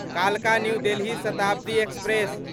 कालका न्यू देलहि शताब्दी एक्सप्रेस